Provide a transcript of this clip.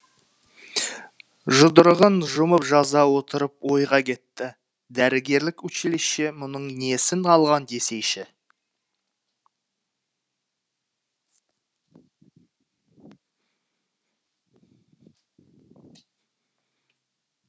жұдырығын жұмып жаза отырып ойға кетті дәрігерлік училище мұның несін алған десейші